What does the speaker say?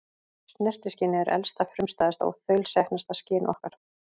Snertiskynið er elsta, frumstæðasta og þaulsetnasta skyn okkar.